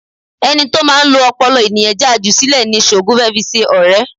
Ẹni tó máa ń lo ọpọlọ ènìyàn já a jù sílẹ̀ ni Ṣògo fẹ́ fi ṣe ọrẹ